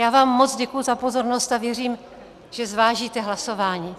Já vám moc děkuji za pozornost a věřím, že zvážíte hlasování.